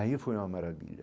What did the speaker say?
Aí foi uma maravilha.